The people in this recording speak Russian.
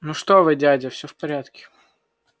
ну что вы дядя все в порядке